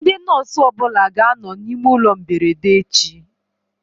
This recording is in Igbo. Ndị nọsụ ọbụla ga anọ na ime ụlọ mberede echi